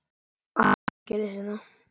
Allt er að gerast hérna!!